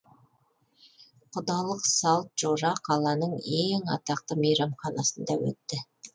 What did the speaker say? құдалық салт жора қаланың ең атақты мейрамханасында өтті